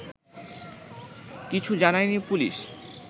কিছু জানায়নি পুলিশ